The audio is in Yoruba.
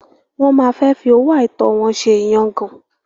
Wọ́n máa fẹ́ fi owó àìtọ́ wọn ṣe ìyangàn.